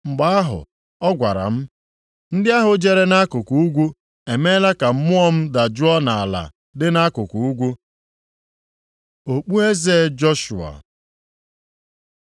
Mgbe ahụ, ọ gwara m, “Ndị ahụ jere nʼakụkụ ugwu emeela ka Mmụọ m dajụọ nʼala dị nʼakụkụ ugwu.” Okpueze Joshua